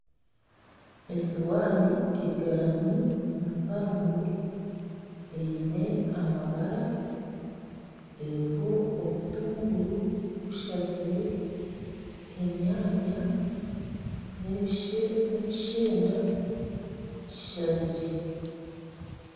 Esowaani egarami mpango eine amabara eriho obutunguru bushazire, enyaanya n'ekishenda kishazire.